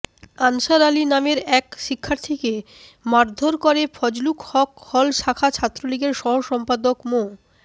answer Ali নামের এক শিক্ষার্থীকে মারধর করে ফজলুল হক হল শাখা ছাত্রলীগের সহসম্পাদক মো